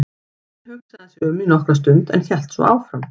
Enn hugsaði hann sig um í nokkra stund en hélt svo áfram